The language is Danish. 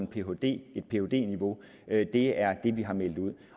phd niveau det niveau det er det vi har meldt ud